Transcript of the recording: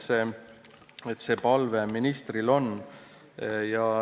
See palve ministril on.